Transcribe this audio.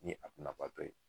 Ni a bunnabatɔ ye